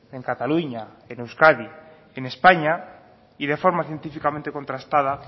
en cataluña en euskadi en españa y de forma científicamente contrastada